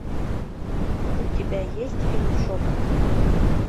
у тебя есть фильм шепот